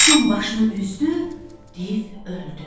Quşun başını üzdü, div öldü.